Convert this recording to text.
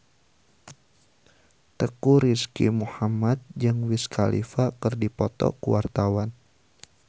Teuku Rizky Muhammad jeung Wiz Khalifa keur dipoto ku wartawan